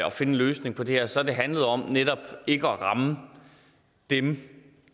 at finde en løsning på det her så har det handlet om netop ikke at ramme dem